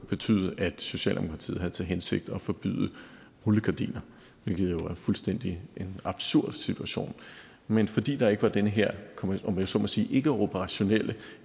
betyde at socialdemokratiet havde til hensigt at forbyde rullegardiner hvilket jo en fuldstændig absurd situation men fordi der ikke var den her om jeg så må sige ikkeoperationelle